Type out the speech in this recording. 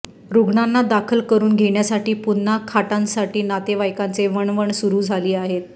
रुग्णांना दाखल करून घेण्यासाठी पुन्हा खाटांसाठी नातेवाईकांची वणवण सुरू झाली आहे